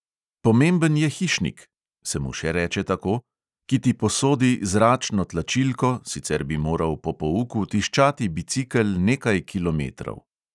Pomemben je hišnik (se mu še reče tako?), ki ti posodi zračno tlačilko, sicer bi moral po pouku tiščati bicikel nekaj kilometrov.